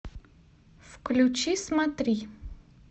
включи смотри